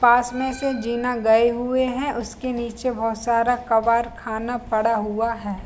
पास में से जीना गये हुए है उसके निचे बहुत सारा कबर खाना पड़ा हुआ है।